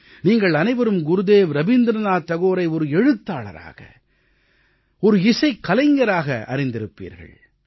நீங்கள் அனைவரும் குருதேவ் ரவீந்திரநாத் தாகூரை ஒரு எழுத்தாளராக ஒரு இசைக் கலைஞராகவும் அறிந்திருப்பீர்கள்